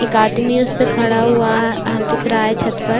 एक आदमी उस पे खड़ा हुआ दिख रहा है छत पर।